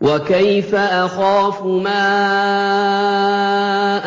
وَكَيْفَ أَخَافُ مَا